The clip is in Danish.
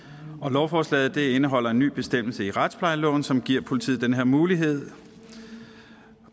lovforslaget indeholder en ny bestemmelse i retsplejeloven som giver politiet den her mulighed